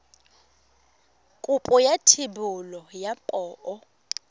kopo ya thebolo ya poo